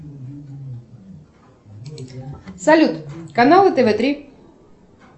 салют каналы тв три